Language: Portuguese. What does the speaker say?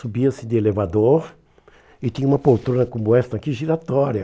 Subia-se de elevador e tinha uma poltrona como esta aqui, giratória.